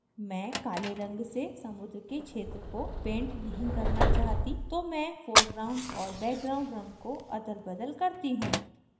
मैं काले रंग से समुद्र के क्षेत्र को paint नहीं करना चाहती तो मैं foreground और background रंग को अदलबदल करती हूँ